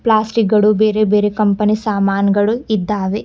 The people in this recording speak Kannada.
ಪ್ಲಾಸ್ಟಿಕ್ ಗಳು ಬೇರೆ ಬೇರೆ ಕಂಪನಿ ಸಾಮಾನ್ಗಳು ಇದ್ದಾವೆ.